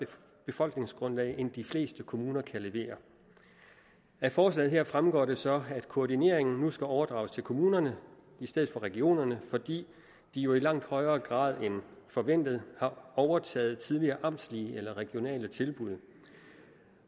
befolkningsgrundlag end de fleste kommuner kan levere af forslaget her fremgår det så at koordineringen nu skal overdrages til kommunerne i stedet for regionerne fordi de jo i langt højere grad end forventet har overtaget tidligere amtslige eller regionale tilbud